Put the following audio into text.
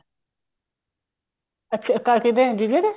ਅੱਛਾ ਕਿਹਦੇ ਜੀਜੇ ਦੇ